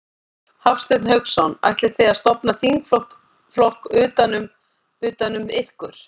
Hafsteinn Hauksson: Ætlið þið að stofna þingflokk utan um, utan um ykkur?